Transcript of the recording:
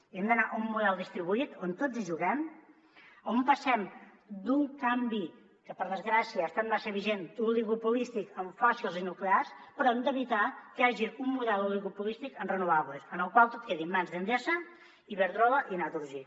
hem d’anar a un model distribuït on tots hi juguem on passem d’un canvi que per desgràcia ha estat massa vigent l’oligopolístic en fòssils i nuclears i hem d’evitar que hi hagi un model oligopolístic en renovables en el qual tot quedi en mans d’endesa iberdrola i naturgy